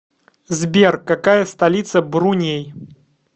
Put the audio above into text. сбер какая столица бруней